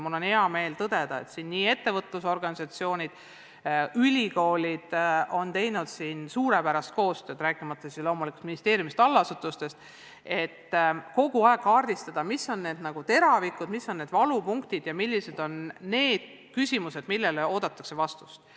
Mul on hea meel tõdeda, et ettevõtlusorganisatsioonid ja ülikoolid on teinud suurepärast koostööd, rääkimata ministeeriumist ja allasutustest, et kogu aeg kaardistada, millised on need valupunktid ja küsimused, millele oodatakse vastust.